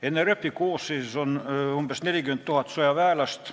NRF-i koosseisus on umbes 40 000 sõjaväelast.